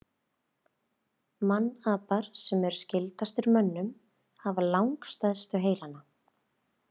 Mannapar sem eru skyldastir mönnum hafa langstærstu heilana.